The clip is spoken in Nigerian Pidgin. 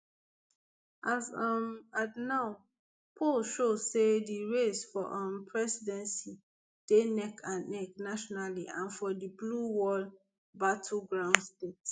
as um at now opinion polls show say di race for um presidency dey neckand neck nationally and for di blue wall battleground states